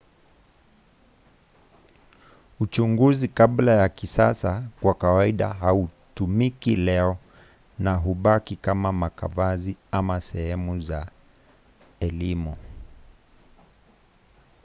uchunguzi kabla ya kisasa kwa kawaida hautumiki leo na hubaki kama makavazi ama sehemu za elimu